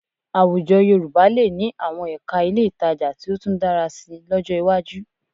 Àwùjọ Yorùbá lè ní àwọn ẹ̀ka ilé ìtajà tí ó tún dára síi lọ́jọ́ iwájú